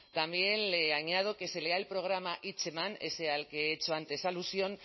también le añado que se lea el programa hitzeman ese al que he hecho antes alusión